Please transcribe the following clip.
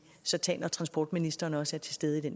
så tage når transportministeren også er til stede ved